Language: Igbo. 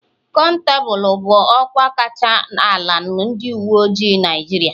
Konstabulu bụ ọkwa kacha ala na ndị uwe ojii Naịjirịa.